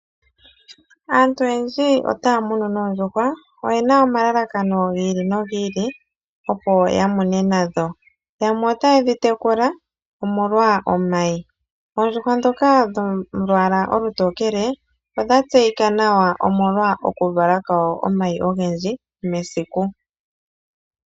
Aantu oyendji otaa muno noondjuhwa. Oye na omalalakano gi ili no gi ili, opo ya mune nadho. Yamwe ota ye dhitekula omolwa omayi. Oondjuhwa ndhoka dholwaala olutokele, odha tseyika nawa omolwa okuvala kwawo omayi ogendji mesiku.